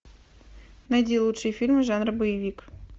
найди лучшие фильмы жанра боевик